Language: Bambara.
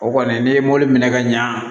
O kɔni ne ye mɔbili minɛ ka ɲa